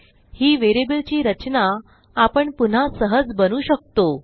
ही व्हेरिएबलची रचना आपण पुन्हा सहज बनवू शकतो